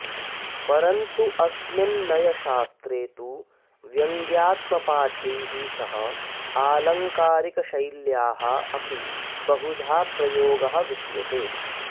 परन्तु अस्मिन् नयशास्त्रे तु व्यङ्ग्यात्मपाठैः सह आलङ्कारिकशैल्याः अपि बहुधा प्रयोगः विद्यते